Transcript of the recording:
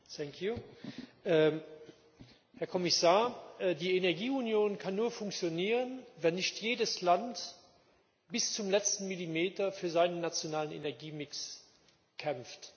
Herr Präsident! Herr Kommissar, die Energieunion kann nur funktionieren, wenn nicht jedes Land bis zum letzten Millimeter für seinen nationalen Energiemix kämpft.